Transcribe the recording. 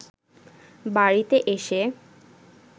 বাড়িতে এসে